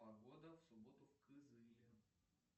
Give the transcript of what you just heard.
погода в субботу в кызыле